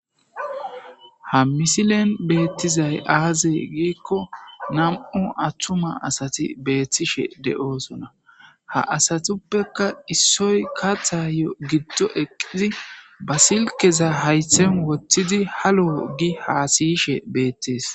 Ha misilen bettizayaze gikko namm'u attuma aasati beetishshe dee'osona ha asatuppeka issoy kaththayo eqqidi ba silkeza haythan wottidi halos gi hasiyishshe beetes